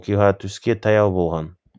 оқиға түске таяу болған